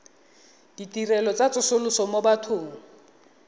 ditirelo tsa tsosoloso mo bathong